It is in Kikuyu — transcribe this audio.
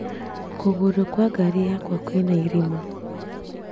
Kũgũrũ kwa ngari yakwa kwĩna irima